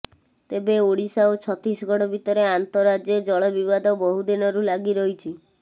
ତେବେ ଓଡିଶା ଓ ଛତିଶଗଡ ଭିତରେ ଆନ୍ତଃରାଜ୍ୟ ଜଳ ବିବାଦ ବହୁ ଦିନରୁ ଲାଗି ରହିଛି